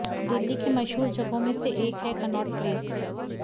दिल्ली के मशहूर जगहों में से एक है कनॉट प्लेस